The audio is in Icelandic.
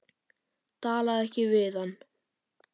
Talaðu ekki við hann.